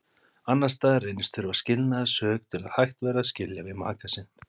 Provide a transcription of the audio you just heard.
Annars staðar reynist þurfa skilnaðarsök til að hægt væri að skilja við maka sinn.